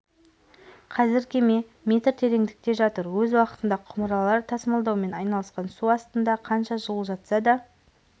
қазір кеме метр тереңдікте жатыр өз уақытында құмыралар тасымалдаумен айналысқан су астында қанша жыл жатса да